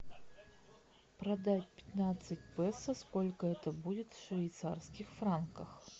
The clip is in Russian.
продать пятнадцать песо сколько это будет в швейцарских франках